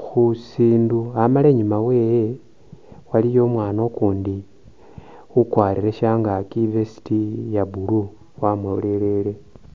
khusindu amala inyuma wewe waliyo umwaana ukundi ukwarile shangaki i'vest ya'blue wamulolelele